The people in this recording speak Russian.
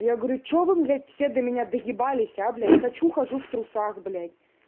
я говорю чего вы блять все до меня доебались а блять хочу хожу в трусах блять